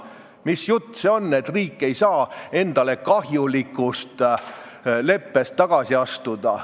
Mis jutt see on, et riik ei saa endale kahjulikust leppest tagasi astuda?